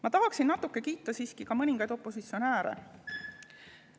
Ma tahan natuke siiski kiita mõningaid opositsionääre.